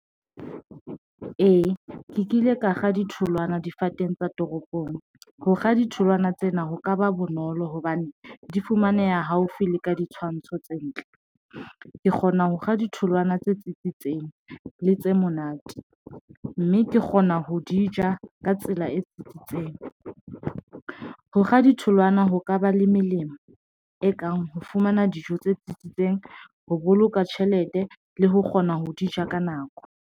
Ee, ke kile ka kga ditholwana difateng tsa toropong. Ho kga ditholwana tsena ho ka ba bonolo hobane di fumaneha haufi le ka ditshwantsho tse ntle. Ke kgona ho kga ditholwana tse tsitsitseng le tse monate, mme ke kgona ho di ja ka tsela e tsitsitseng. Ho kga ditholwana ho ka ba le melemo e kang ho fumana dijo tse tsitsitseng, ho boloka tjhelete le ho kgona ho di ja ka nako.